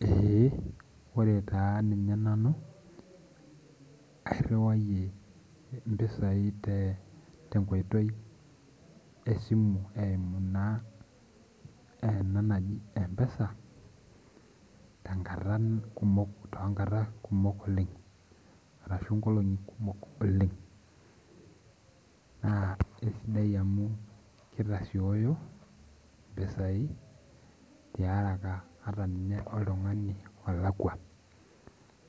Ee ore taa ninye nanu airwayie mpisai tenkoitoi esimu eimu na mpesa tenkata kumok oleng arashu nkolongi kumok oleng na kesidai amu kitasioyo mpisai tiaraka ata toltungani olakwa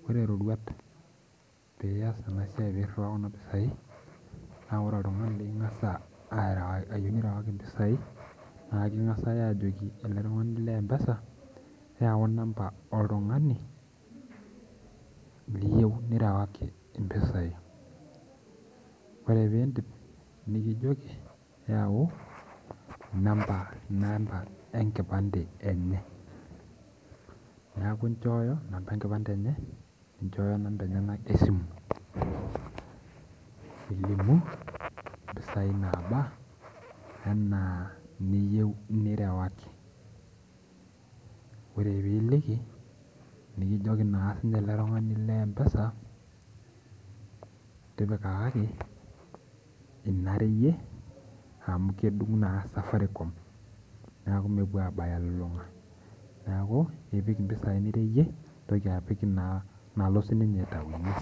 ore rorwat niya peirieaa kuna pisai na ore oltungani likingasa ayieu nirewaki mpisai na ekingasa ajoki eletungani le mpesa yau namba oltungani liyieu nirewaki mpisai ore piidip nikijoki yau namba enkipande enyeneaku ichooyo namba enkipande enye ninchooyo namba esimu nilimu mpisai naba ana niyieu nirewaki ore peiliki nikijoki eletunganu le mpesa tipikaki inareyie amu kedung na Safaricom amu mepuo abaya elulunga neaku ipik nireyie nipik nalo sinye aitaunye.